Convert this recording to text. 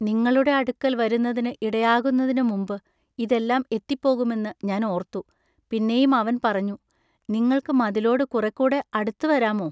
നിങ്ങളുടെ അടുക്കൽ വരുന്നതിനു ഇടയാകുന്നതിനു മുമ്പു ഇതെല്ലാം എത്തിപ്പോകുമെന്നു ഞാൻ ഓർത്തു പിന്നെയും അവൻ പറഞ്ഞു, നിങ്ങൾക്കു മതിലോടു കുറെക്കൂടെ അടുത്തുവരാമൊ.